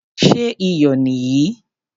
Ṣé iyò nì yìí?